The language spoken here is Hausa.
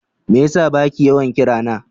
Me yasa baki yawan kirana?